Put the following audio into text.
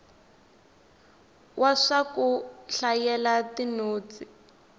wa swa ku hlayela tinotsi